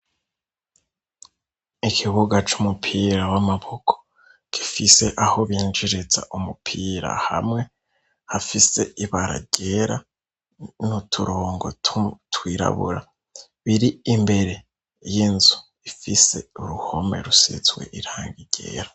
Ikibuga c'umupira w'amaboko gifise aho binjiriza umupira hamwe hafise ibara ryera no turongo twirabura biri imbere y'inzu ifise uruhome rusitzwe iranga iryera.